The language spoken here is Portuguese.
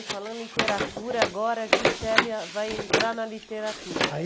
E falando em literatura, agora a Gisélia vai entrar na literatura. Ai